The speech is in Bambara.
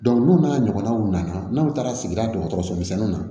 n'u n'a ɲɔgɔnaw nana n'u taara sigida dɔgɔtɔrɔso misɛnninw na